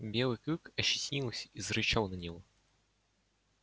белый клык ощетинился и зарычал на него